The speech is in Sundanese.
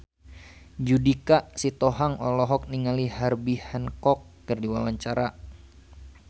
Judika Sitohang olohok ningali Herbie Hancock keur diwawancara